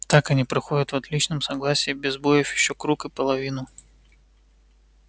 так они проходят в отличном согласии без сбоёв ещё круг и половину